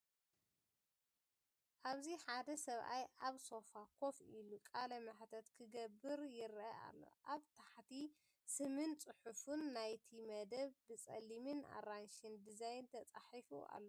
ኣብዚ ሓደ ሰብኣይ ኣብ ሶፋ ኮፍ ኢሉ ቃለ መሕትት ክገብር ይርአ ኣሎ፤ ኣብ ታሕቲ ስምን ጽሑፍን ናይቲ መደብ ብጸሊምን ኣራንሺን ዲዛይን ተፃሒፉ ኣሎ።